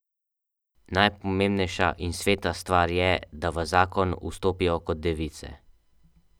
Najpomembnejša in sveta stvar je, da v zakon vstopijo kot device.